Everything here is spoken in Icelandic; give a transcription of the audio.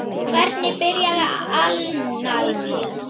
Hvernig byrjaði alnæmi?